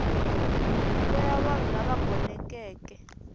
nyiko ya vanhu lava gonekeke